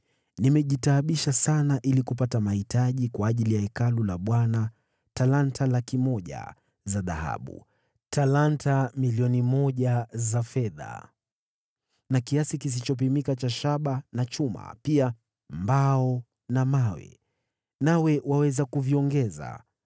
“Nimejitaabisha sana ili kupata mahitaji kwa ajili ya Hekalu la Bwana : talanta 100,000 za dhahabu, talanta 1,000,000 za fedha na kiasi kisichopimika cha shaba na chuma, pia mbao na mawe. Nawe waweza kuviongeza.